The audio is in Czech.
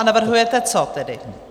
A navrhujete co tedy?